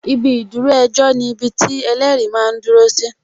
Ibi ìdúró ejọ́ ni ibiti ẹlẹ́rìí máa ń dúró si